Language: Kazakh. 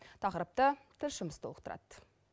тақырыпты тілшіміз толықтырады